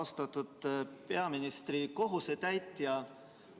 Austatud peaministri kohusetäitja!